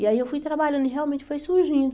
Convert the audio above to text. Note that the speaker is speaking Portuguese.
E aí eu fui trabalhando e realmente foi surgindo.